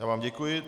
Já vám děkuji.